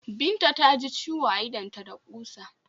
Binta ta ji ciwo a idonta da ƙusa.